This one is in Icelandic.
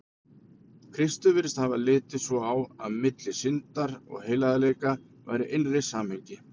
Kristur virðist hafa litið svo á, að milli syndar og heilagleika væri innra samhengi.